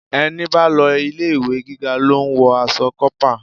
Ẹni bá lọ ilé-ìwé gíga lo ń wọ aṣọ kópa.